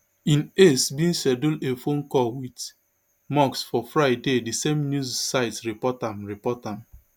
im aides bin schedule a phone call wit musk for friday di same news site report am report am